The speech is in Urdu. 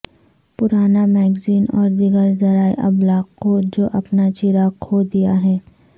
پرانا میگزین اور دیگر ذرائع ابلاغ کو جو اپنا چراغ کھو دیا ہے